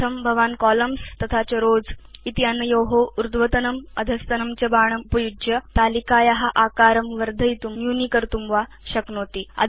इत्थं भवान् कोलम्न्स् स्थं रोव्स क्षेत्रस्थं च ऊर्ध्वतनम् अधस्तनं च बाणम् उपयुज्य तालिकाया आकारं वर्धयितुं न्यूनीकर्तुं वा शक्नोति